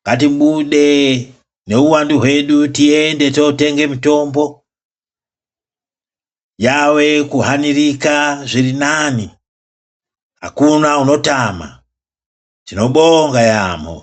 ngatibude neuwandu hwedu tiyende totenge mitombo yave kuhanirika zviri nani akuna unotama tinobonga yampho.